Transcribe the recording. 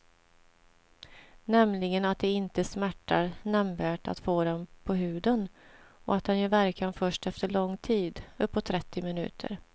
Nämligen att det inte smärtar nämnvärt att få den på huden och att den gör verkan först efter lång tid, uppåt trettio minuter.